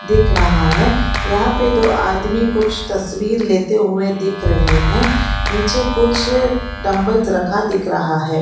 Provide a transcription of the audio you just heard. दिख रहा है यहां पर तो आदमी कुछ तस्वीर लेते हुए दिख रहे हैं नीचे कुछ डंबल रखा दिख रहा है।